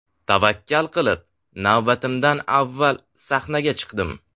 Tavakkal qilib navbatimdan avval sahnaga chiqdim.